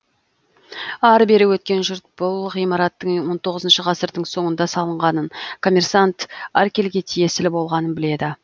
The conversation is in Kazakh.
ары бері өткен жұрт бұл ғимараттың он тоғызыншы ғасырдың соңында салынғанын коммерсант аркельге тиесілі болғанын біледі